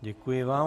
Děkuji vám.